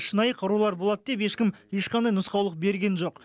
шынайы қарулар болады деп ешкім ешқандай нұсқаулық берген жоқ